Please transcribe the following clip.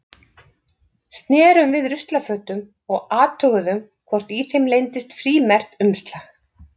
Snerum við ruslafötum og athuguðum hvort í þeim leyndist frímerkt umslag.